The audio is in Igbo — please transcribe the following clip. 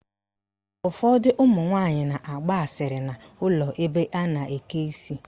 Ụfọdụ ụmụnwaanyị na-agba asịrị n' ụlọ ebe a na-eke isi.